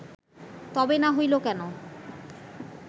তবে না হইল কেন